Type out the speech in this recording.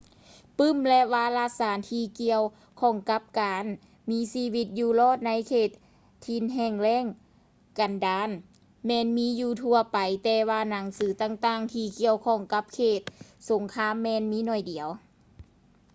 ປື້ມ ແລະ ວາລະສານທີ່ກ່ຽວຂ້ອງກັບການມີຊີວິດຢູ່ລອດໃນເຂດຖິ່ນແຫ້ງແລ້ງກັນດານແມ່ນມີຢູ່ທົ່ວໄປແຕ່ວ່າໜັງສືຕ່າງໆທີ່ກ່ຽວຂ້ອງກັບເຂດສົງຄາມແມ່ນມີໜ້ອຍດຽວ